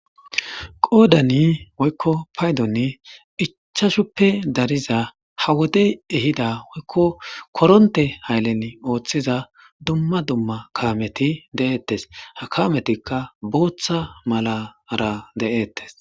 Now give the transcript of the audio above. Paydoni woyko qodani ichashuppe dariza ha wodey ehida woykko koronte haylen oothize dumma dumma kameti de'etes, ha kametika bootha malara de'etes.